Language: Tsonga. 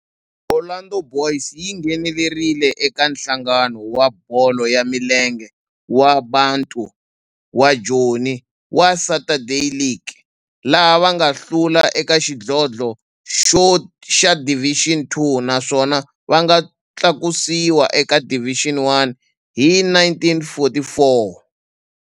Orlando Boys yi nghenelerile eka Nhlangano wa Bolo ya Milenge wa Bantu wa Joni wa Saturday League, laha va nga hlula eka xidlodlo xa Division Two naswona va nga tlakusiwa eka Division One hi 1944.